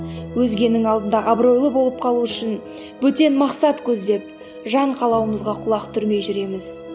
өзгенің алдында абыройлы болып қалу үшін бөтен мақсат көздеп жан қалауымызға құлақ түрмей жүреміз